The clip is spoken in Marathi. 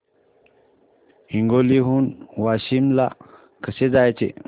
हिंगोली हून वाशीम ला कसे जायचे